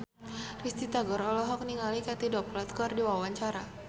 Risty Tagor olohok ningali Katie Dippold keur diwawancara